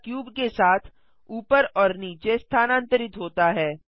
camera cube के साथ ऊपर और नीचे स्थानांतरित होता है